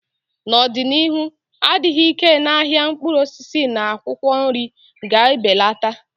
N'ọdịnihu, adịghị ike na ahịa mkpụrụ osisi na akwụkwọ nri ga-ebelata.